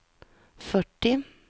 fyrtio